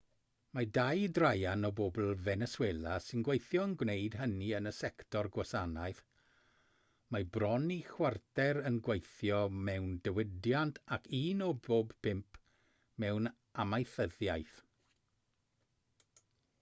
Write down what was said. mae dau draean o bobl feneswela sy'n gweithio yn gwneud hynny yn y sector gwasanaeth mae bron i chwarter yn gweithio mewn diwydiant ac un o bob pump mewn amaethyddiaeth